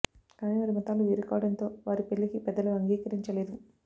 కాని వారి మతాలు వేరు కావడంతో వారి పెళ్లికి పెద్దలు అంగీకరించలేదు